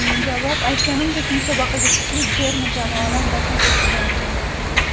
Javob: Aytganimdek, musobaqaga kuchli terma jamoalar taklif etilgan ekan.